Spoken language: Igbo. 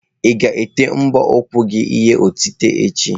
Ị ga-ete mbọ ụkwụ gị ihe otite echi?